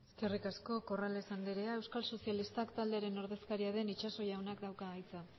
eskerrik asko corrales andrea euskal sozialistak taldearen ordezkaria den itxaso jaunak dauka hitza